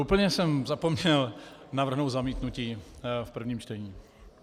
Úplně jsem zapomněl navrhnout zamítnutí v prvním čtení.